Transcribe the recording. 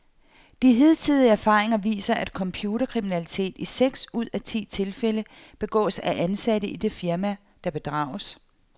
De hidtidige erfaringer viser, at computerkriminalitet i seks ud af ti tilfælde begås af ansatte i det firma, der bedrages.